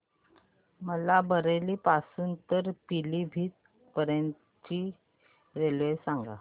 मला बरेली पासून तर पीलीभीत पर्यंत ची रेल्वे सांगा